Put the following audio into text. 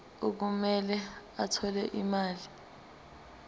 okumele athole imali